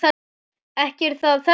Ekki er það þessi.